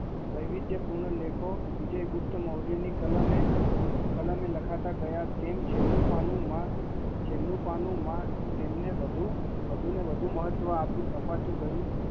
વૈવિધ્યપૂર્વ કલમ વિજય ગુપ્ત મૌરાય ને તેમ છેલ્લું પન્નુ દરમિયાન તેમને વધુને વધુ અપાતું કરિયું